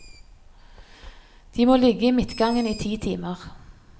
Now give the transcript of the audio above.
De må ligge i midtgangen i ti timer.